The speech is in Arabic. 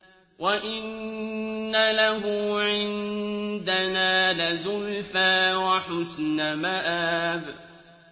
وَإِنَّ لَهُ عِندَنَا لَزُلْفَىٰ وَحُسْنَ مَآبٍ